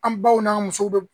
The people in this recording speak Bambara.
An baw n'an musow bi